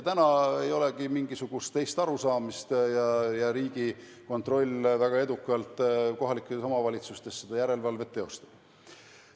Praegu ei olegi mingisugust teist arusaamist ja Riigikontroll väga edukalt kohalikes omavalitsustes seda järelevalvet teostab.